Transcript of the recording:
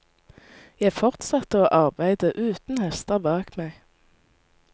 Jeg fortsatte å arbeide uten hester bak meg.